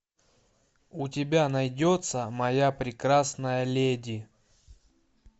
у тебя найдется моя прекрасная леди